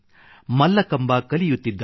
ಮಲ್ಲಕಂಬ ಕಲಿಯುತ್ತಿದ್ದಾರೆ